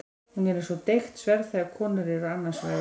Hún er eins og deigt sverð þegar konur eru annars vegar.